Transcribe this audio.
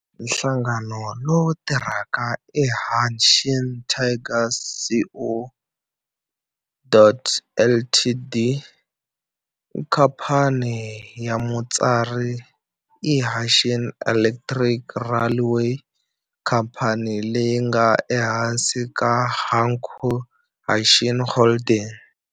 Nhlangano lowu tirhaka i Hanshin Tigers Co., Ltd. Khamphani ya mutswari i Hanshin Electric Railway, khamphani leyi nga ehansi ka Hankyu Hanshin Holdings.